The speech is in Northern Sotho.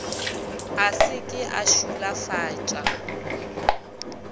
a se ke a šulafatša